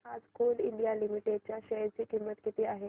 आज Coal India Limited च्या share ची किंमत किती आहे